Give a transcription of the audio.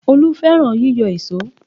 Olú fẹ́ràn yíyọ èṣó